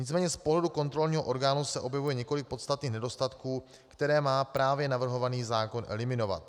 Nicméně z pohledu kontrolního orgánu se objevuje několik podstatných nedostatků, které má právě navrhovaný zákon eliminovat.